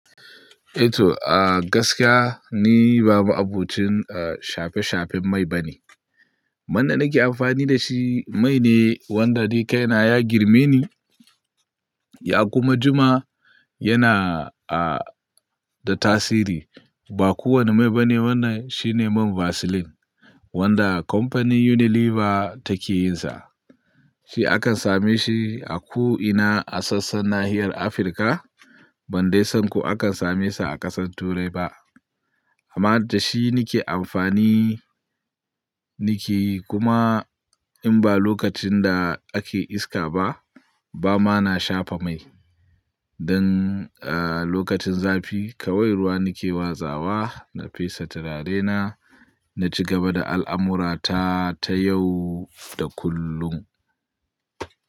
Eh toh, a gaskiya ni ba ma'abucin shafe-shafen mai bane. Wanda nake amfani da shi mai ne wanda dai kai na ya girme ni Yakuma jima yana eh-- da tasiri. Ba kowani mai bane wannan shine mai'n vaseline wanda company Unilever take yin sa. Shi akan same shi a ko ina a saassar nahi Africa, ban dai sani ko ana same su a kasan turai ba. Kuma da shi nike amfani, nike kuma in ba lokacin da ake iska ba, bama na shafa mai. Dan a lokacin zafi kawai ruwa nake wasawa, na pesa Tularaina, na cigaba da alamurata ta yau da kullum.